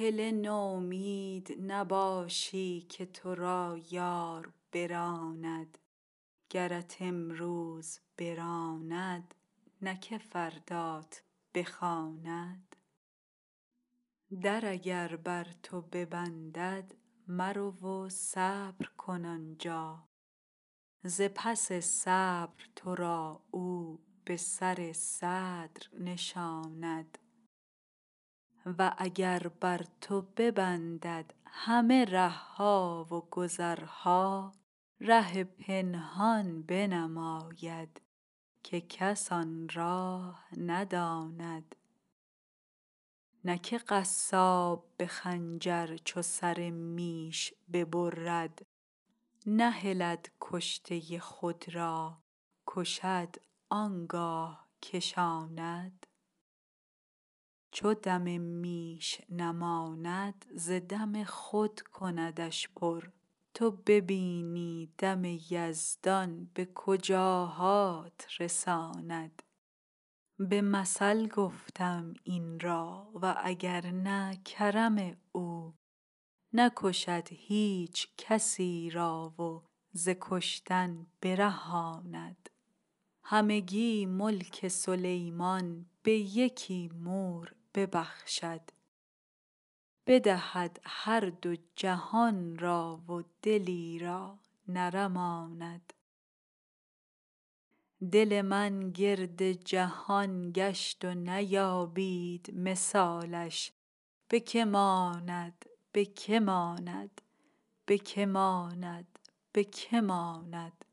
هله نومید نباشی که تو را یار براند گرت امروز براند نه که فردات بخواند در اگر بر تو ببندد مرو و صبر کن آن جا ز پس صبر تو را او به سر صدر نشاند و اگر بر تو ببندد همه ره ها و گذرها ره پنهان بنماید که کس آن راه نداند نه که قصاب به خنجر چو سر میش ببرد نهلد کشته خود را کشد آن گاه کشاند چو دم میش نماند ز دم خود کندش پر تو ببینی دم یزدان به کجاهات رساند به مثل گفته ام این را و اگر نه کرم او نکشد هیچ کسی را و ز کشتن برهاند همگی ملک سلیمان به یکی مور ببخشد بدهد هر دو جهان را و دلی را نرماند دل من گرد جهان گشت و نیابید مثالش به که ماند به که ماند به که ماند به که ماند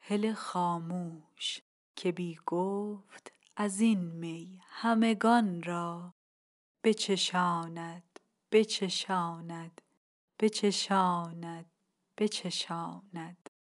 هله خاموش که بی گفت از این می همگان را بچشاند بچشاند بچشاند بچشاند